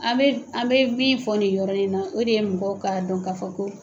An bɛ a bɛ min fɔ ni yɔrɔ in na o de ye mɔgɔw ka dɔn k'a fɔ ko